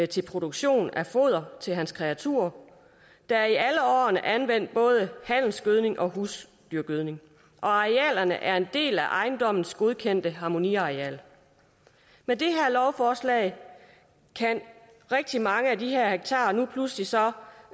til produktion af foder til hans kreaturer der er i alle årene anvendt både halmsgødning og husdyrgødning og arealerne er en del af ejendommens godkendte harmoniareal med det her lovforslag kan rigtig mange af de her hektarer nu pludselig så